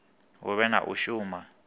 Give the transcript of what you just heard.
hu vhe na u shuma